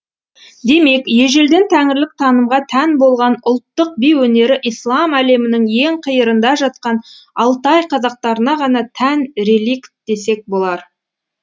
демек ежелден тәңірлік танымға тән болған ұлттық би өнері ислам әлемінің ең қиырында жатқан алтай қазақтарына ғана тән реликт десек болар